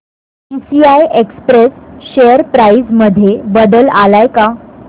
TCI express share price मध्ये बदल आलाय का